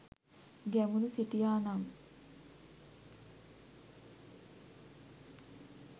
ගැමුණු සිටියා නම්